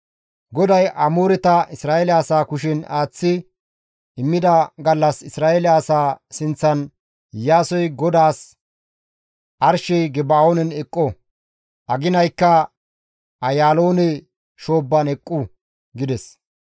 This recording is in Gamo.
GODAY Amooreta Isra7eele asaa kushen aaththi immida gallas Isra7eele asaa sinththan Iyaasoy GODAAS, «Arshey Geba7oonen eqqo; Aginaykka Ayaaloone shoobban eqqu» gides.